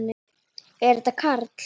Er þetta Karl?